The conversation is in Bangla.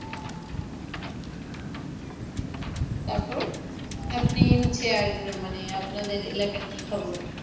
তারপর আপনি হচ্ছে আর মানে আপনাদের এলাকার কি খবর?